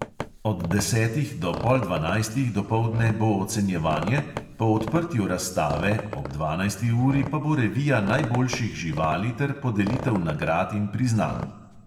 Od desetih do pol dvanajstih dopoldne bo ocenjevanje, po odprtju razstave ob dvanajsti uri pa bo revija najboljših živali ter podelitev nagrad in priznanj.